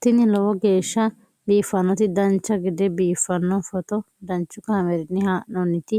tini lowo geeshsha biiffannoti dancha gede biiffanno footo danchu kaameerinni haa'noonniti